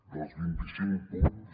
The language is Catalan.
dels vint i cinc punts